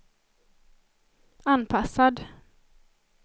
anpassad